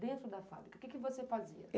Dentro da fábrica, o que você fazia?